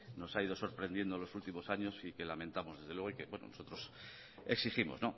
nos ha ido sorprendiendo en los últimos años y que lamentamos desde luego y que nosotros exigimos